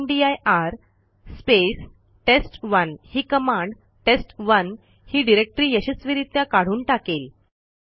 रामदीर space टेस्ट1 ही कमांडtest1 ही डिरेक्टरी यशस्वीरित्या काढून टाकेल